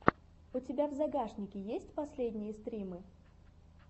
у тебя в загашнике есть последние стримы